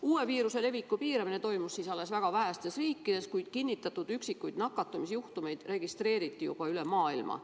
Uue viiruse levikut piirati siis alles väga vähestes riikides, kuid kinnitatud üksikuid nakatumise juhtumeid registreeriti juba üle maailma.